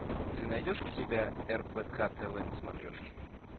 ты найдешь у себя рбк тв на смотрешке